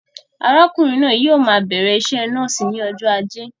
Arákùnrin náà yóò maa bẹ̀rẹ̀ iṣẹ nọ́ọ̀sì ní ọjọ ajé